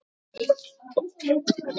Má krydda með líkjör.